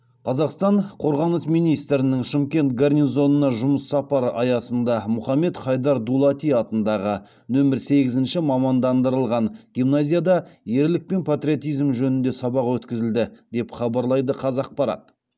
қазақстан қорғаныс министрінің шымкент гарнизонына жұмыс сапары аясында мұхаммед хайдар дулати атындағы нөмір сегізінші мамандандырылған гимназияда ерлік пен патриотизм жөнінде сабақ өткізілді деп хабарлайды қазақпарат